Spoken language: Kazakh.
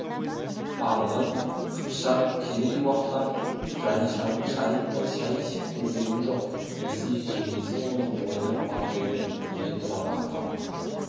арғын қыпшақ керей-уақтан жанишаның шайындай шай ішіп көргенім жоқ десе жеңгесі оның ойнап мақтайтынын біле тұра мақтанып